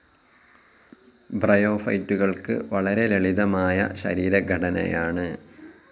ബ്രയോഫൈറ്റുകൾക്ക് വളരെ ലളിതമായ ശരീരഘടനയാണ്.